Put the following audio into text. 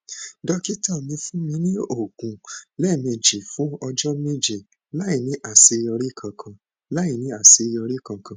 dókítà mi fún mi ní oògùn lẹẹmejì fún ọjọ méje láìní àṣeyọrí kankan láìní àṣeyọrí kankan